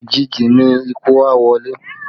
Òjìji ni ikú a wọlé